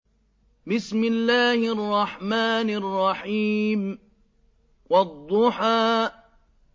وَالضُّحَىٰ